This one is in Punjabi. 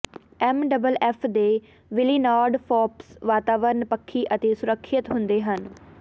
ਐੱਮ ਡਬਲ ਐੱਫ ਦੇ ਵਿਲੀਨਾਰਡ ਫਾੱਪਸ ਵਾਤਾਵਰਨ ਪੱਖੀ ਅਤੇ ਸੁਰੱਖਿਅਤ ਹੁੰਦੇ ਹਨ